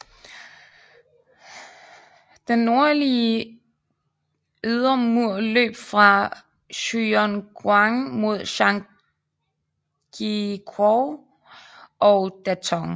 Den nordligere ydre mur løb fra Juyongguan mod Zhangjiakou og Datong